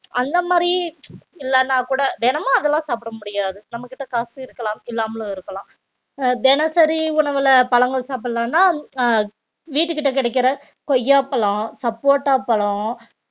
அந்த மாதிரி இல்லனாக்கூட தினமும் அதெல்லாம் சாப்பிட முடியாது நம்மகிட்ட காசு இருக்கலாம் இல்லாமலும் இருக்கலாம் அஹ் தினசரி உணவுல பழங்கள் சாப்பிடலாம்ன்னா அஹ் வீட்டுக்கிட்ட கிடைக்கிற கொய்யாப்பழம், சப்போட்டா பழம்